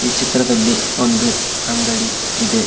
ಈ ಚಿತ್ರದಲ್ಲಿ ಒಂದು ಅಂಗಡಿ ಇದೆ.